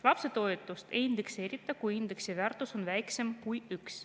Lapsetoetust ei indekseerita, kui indeksi väärtus on väiksem kui 1.